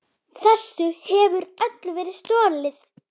Þessu hefur öllu verið stolið!